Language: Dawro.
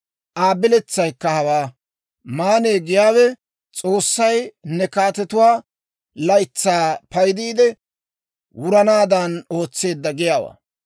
Aa biletsaykka hawaa: «Maanne giyaawe, S'oossay ne kaatetetsaa laytsaa paydiide, wuranaadan ootseedda giyaawaa.